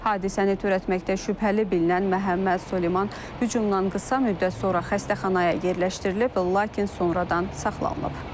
Hadisəni törətməkdə şübhəli bilinən Məhəmməd Süleyman hücumdan qısa müddət sonra xəstəxanaya yerləşdirilib, lakin sonradan saxlanılıb.